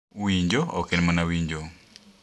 Winjo ok en mana winjo